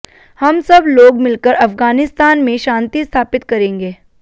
हम सब लोग मिलकर अफगानिस्तान में शांति स्थापित करेंगे